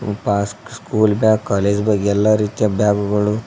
mask school bag college bag ಎಲ್ಲಾ ರೀತಿಯ ಬಾಗುಗಳು--